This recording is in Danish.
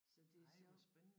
Så det sjovt